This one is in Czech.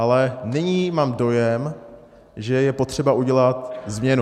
Ale nyní mám dojem, že je potřeba udělat změnu.